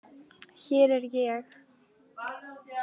Hér er ég.